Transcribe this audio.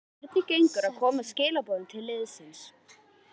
Hvernig gengur að koma skilaboðum til liðsins?